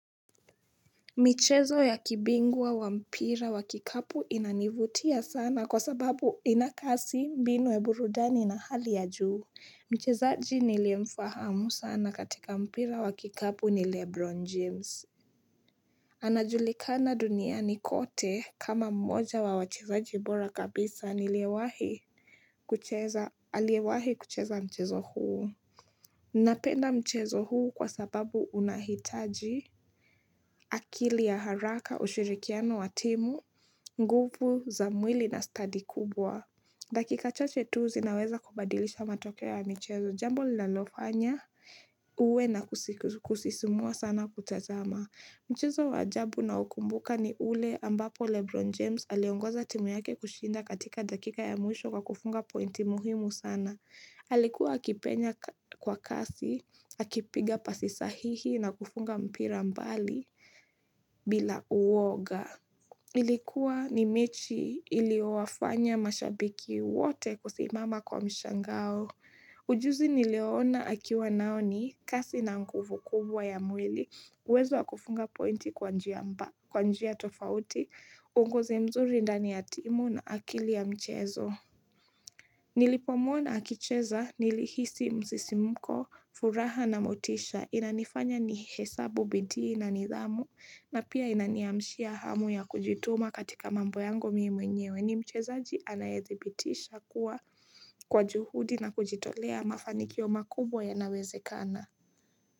Michezo ya kibingwa wa mpira wa kikapu inanivutia sana kwa sababu ina kasi mbinu ya burudani na hali ya juu. Mchezaji niliefahamu sana katika mpira wa kikapu ni Lebron James. Anajulikana duniani kote kama mmoja wa wachezaji bora kabisa niliewahi kucheza aliewahi kucheza mchezo huu. Napenda mchezo huu kwa sababu unahitaji akili ya haraka ushirikiano wa timu, nguvu za mwili na study kubwa. Dakika chache tu zinaweza kubadilisha matokeo ya michezo jambo linalofanya uwe na kusisimua sana kutazama. Mchezo wa ajabu naokumbuka ni ule ambapo Lebron James aliongoza timu yake kushinda katika dakika ya mwisho kwa kufunga pointi muhimu sana. Alikuwa akipenya kwa kasi, akipiga pasi sahihi na kufunga mpira mbali bila uoga. Ilikuwa ni mechi iliowafanya mashabiki wote kusimama kwa mshangao. Ujuzi niliyona akiwa nao ni kasi na nguvu kubwa ya mwili. Uwezo wa kufunga pointi kwa njia tofauti, uongozi mzuri ndani ya timu na akili ya mchezo. Nilipomwona akicheza nilihisi msisimko furaha na motisha inanifanya nihesabu bidii na nidhamu na pia inaniamshia hamu ya kujituma katika mambo yangu mimi mwenyewe ni mchezaji anayethibitisha kuwa kwa juhudi na kujitolea mafanikio makubwa yanawezekana.